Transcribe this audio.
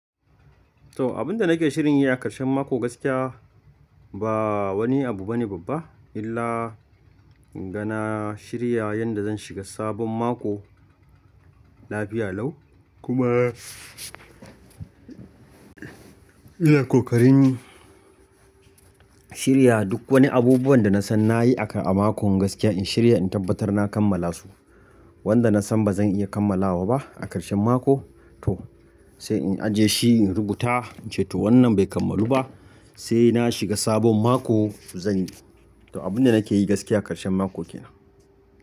To abunda nake shirin yi a ƙarshen mako gaskiya ba wani abu bane babba illa inga na shirya yanda zan shiga sabon mako lafiya lau kuma ina ƙoƙarin shirya duk wani abubuwan da nasan nayi a mako gaskiya in shirya in tabbatar na kammala su. Wanda nasan bazan iya kammalawa ba a ƙarshen mako toh sai in ajiye shi in rubuta in ce toh wannan bai kammalu ba sai na shiga sabon mako zan yi. Toh abunda nake yi gaskiya a ƙarshen mako kenan.